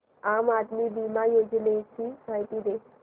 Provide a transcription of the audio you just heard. आम आदमी बिमा योजने ची माहिती दे